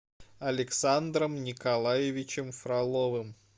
александром николаевичем фроловым